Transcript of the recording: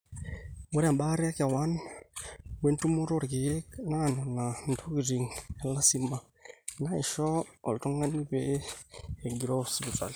ore embaata ekewan, wentumoto oorkeek naa nena intokitin elasima naaisho oltung'ani pee egiroo sipitali